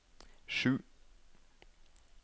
sju